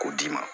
K'o d'i ma